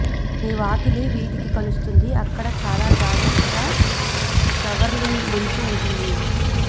మీ వాకిలి వీధికి కలుస్తుంది అక్కడ చాలా జాగ్రత్తగా షవర్లింగ్ మంచు ఉంటుంది